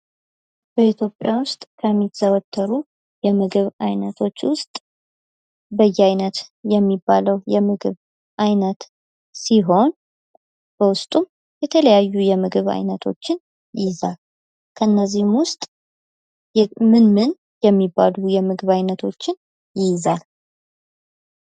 በኢትዮጵያ ውስጥ ከሚዘወተሩ የምግብ አይነቶች ውስጥ በየአይነት የሚባለው የምግብ አይነት ሲሆን በውስጡም የተለያዩ የምግብ አይነቶችን ይይዛል። ከእነዚህም ውስጥ ምንምን የሚባሉ የምግብ አይነቶችን ይይዛል?